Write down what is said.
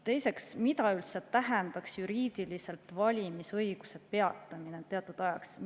Teiseks, mida üldse tähendaks juriidiliselt valimisõiguse peatamine teatud ajaks?